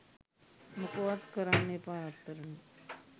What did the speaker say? මොකවත් කරන්න එපා රත්තරනේ